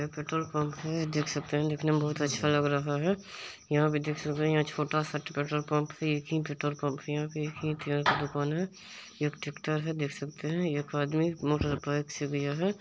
यह petrol pump है देख सकते है देखने में बहुत अच्छा लग रहा है यहां पे देख सकते है यहां पर एक छोटा-सा यहाँ पर एक ही पेट्रोल पंप है एक ही पेट्रोल पंप की दुकान है एक ट्रैक्टर है देख सकते है एक आदमी मोटर बाइक से गया है।